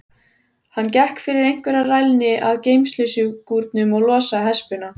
Hann gekk fyrir einhverja rælni að geymsluskúrnum og losaði hespuna.